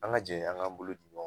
An ka jɛ an k'an bolo di ɲɔ